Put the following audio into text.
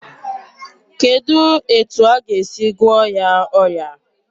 Kedụ etu aga esi gụọ ya ọrịa a?